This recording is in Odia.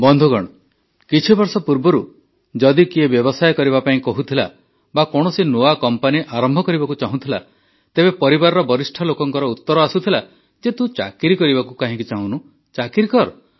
ବନ୍ଧୁଗଣ କିଛି ବର୍ଷ ପୂର୍ବରୁ ଯଦି କିଏ ବ୍ୟବସାୟ କରିବା ପାଇଁ କହୁଥିଲା ବା କୌଣସି ନୂଆ କମ୍ପାନୀ ଆରମ୍ଭ କରିବାକୁ ଚାହୁଁଥିଲା ତେବେ ପରିବାରର ବରିଷ୍ଠ ଲୋକଙ୍କର ଉତର ଆସୁଥିଲା ଯେ ତୁ ଚାକିରି କରିବାକୁ କାହିଁକି ଚାହୁଁନୁ ଚାକିରି କର